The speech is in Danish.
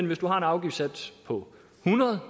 hvis man har en afgiftssats på hundrede